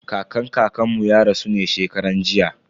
Kakan kakan mu ya rasu ne shekaran jiya.